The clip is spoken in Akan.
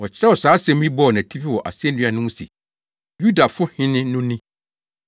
Wɔkyerɛw saa asɛm yi bɔɔ nʼatifi wɔ asennua no so se, “YUDAFO HENE NO NI.”